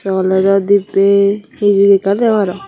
sawlejo dibbe hijik ekkan degong aro.